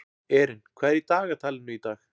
Erin, hvað er í dagatalinu í dag?